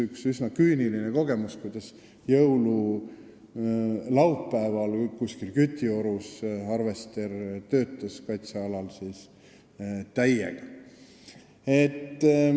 Üks üsna küüniline kogemus oli see, et jõululaupäeval töötas kuskil Kütiorus kaitsealal harvester täiega.